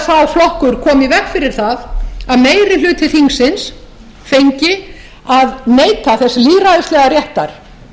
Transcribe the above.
sá flokkur kom í veg fyrir það að meiri hluti þingsins fengi að neyta þess lýðræðislega réttar